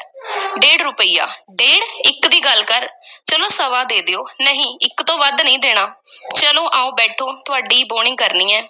ਡੇੜ੍ਹ ਰੁਪਈਆ ਡੇੜ ਇੱਕ ਦੀ ਗੱਲ ਕਰ ਚਲੋ ਸਵਾ ਦੇ ਦਿਓ, ਨਹੀਂ, ਇੱਕ ਤੋਂ ਵੱਧ ਨਹੀਂ ਦੇਣਾ ਚਲੋ ਆਓ ਬੈਠੋ ਤੁਹਾਡੀ ਬੋਹਣੀ ਕਰਨੀ ਹੈ